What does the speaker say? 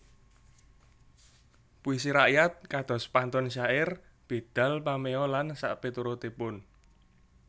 Puisi rakyat kados pantun syair bidal pameo lan sakpiturutipun